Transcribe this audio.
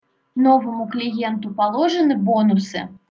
новому клиенту положены бонусы